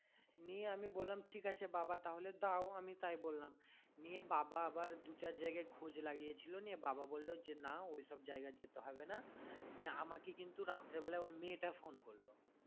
নিয়ে আমি বললাম ঠিক আছে যে বাবা তাহলে দাও আমি তাই বললাম নিয়ে বাবা আবার দু চার জায়গায় খোঁজ লাগিয়েছিল নিয়ে বাবা বললো যে না ওইসব জায়গায় যেতে হবে না নিয়ে আমাকে কিন্তু রাত্রে বেলায় ওই মেয়েটা phone করলো